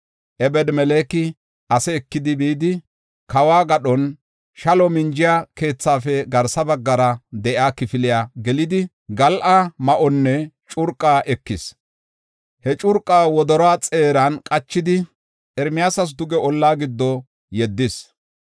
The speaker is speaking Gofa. Ebed-Meleki ase ekidi, bidi kawo gadhon shalo minjiya keethaafe garsa baggara de7iya kifiliya gelidi, gal7a ma7onne curqa ekis. He curqa wodoruwa xeeran qachidi, Ermiyaasas duge olla giddo yeddis.